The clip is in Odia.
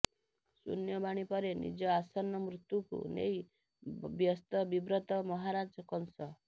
ଶୂନ୍ୟବାଣୀ ପରେ ନିଜ ଆସନ୍ନ ମୃତ୍ୟୁକୁ ନେଇ ବ୍ୟସ୍ତବିବ୍ରତ ମହାରାଜ କଂସ